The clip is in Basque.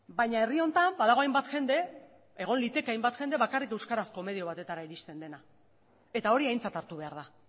baina herri honetan badago hainbat jende egon liteke hainbat jende bakarrik euskarazko medio batera iristen dena eta hori aintzat hartu behar da